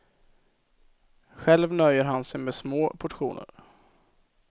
Själv nöjer han sig med små portioner.